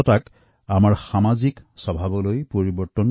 উৎসৱৰ প্ৰস্তুতিয়েই পৰিষ্কাৰপৰিচ্ছন্নতাৰ মাজেদি আৰম্ভ হয়